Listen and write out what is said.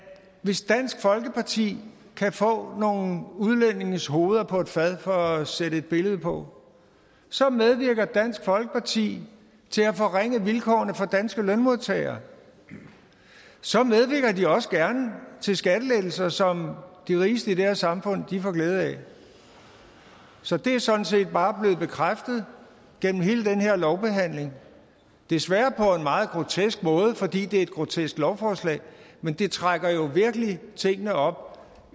hvis dansk folkeparti kan få nogle udlændinges hoveder på et fad for at sætte et billede på så medvirker dansk folkeparti til at forringe vilkårene for danske lønmodtagere og så medvirker de også gerne til skattelettelser som de rigeste i det her samfund får glæde af så det er sådan set bare blevet bekræftet gennem hele den her lovbehandling desværre på en meget grotesk måde fordi det er et grotesk lovforslag men det trækker jo virkelig tingene op